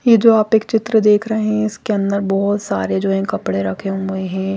ये जो आप एक चित्र देख रहे है इसके अंदर बहुत सारे जो हैं कपडे रखे हुए है।